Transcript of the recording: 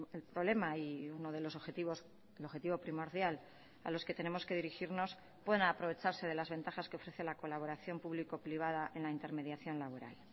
el problema y uno de los objetivos el objetivo primordial a los que tenemos que dirigirnos puedan aprovecharse de las ventajas que ofrece la colaboración público privada en la intermediación laboral